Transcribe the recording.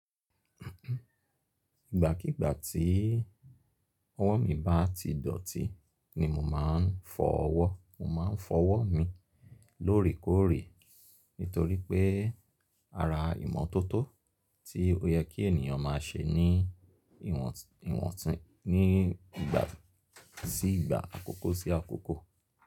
Ìgbákígbá tí ọwọ́ mi bá ti dọ̀tí ni mo máa ń fọwọ́. Mo máa ń fọwọ́ mi lóòrèkóòrè nítorí pé ara ìmọ́tótó tí ó yẹ kí ènìyàn máa ṣe ní ní ìgbà sí ìgbà, àkókó sí àkókó.